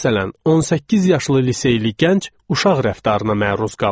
Məsələn, 18 yaşlı liseyli gənc uşaq rəftarına məruz qalır.